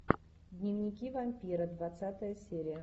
дневники вампира двадцатая серия